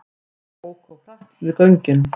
Óku of hratt við göngin